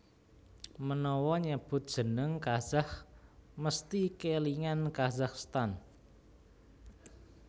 Menawa nyebut jeneng Kazakh mesthi kèlingan Kazakhstan